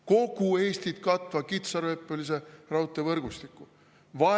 Kogu Eestit katva kitsarööpmelise raudtee võrgustiku!